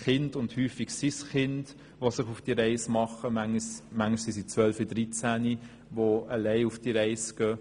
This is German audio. Häufig machen sich Kinder – manchmal im Alter von 12 oder 13 Jahren – auf diese Reise.